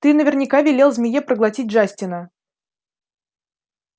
ты наверняка велел змее проглотить джастина